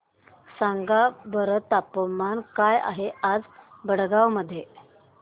सांगा बरं तापमान काय आहे आज भडगांव मध्ये